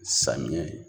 Samiya